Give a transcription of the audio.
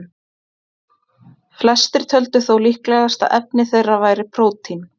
Flestir töldu þó líklegast að efni þeirra væri prótín.